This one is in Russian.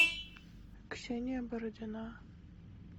ксения бородина